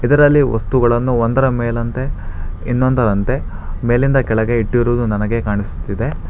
ಇದರಲ್ಲಿ ವಸ್ತುಗಳನ್ನು ಒಂದರ ಮೇಲಂತೆ ಇನ್ನೊಂದರಂತೆ ಮೇಲಿಂದ ಕೆಳಗೆ ಇಟ್ಟಿರುವುದು ನನಗೆ ಕಾಣಿಸುತ್ತಿದೆ.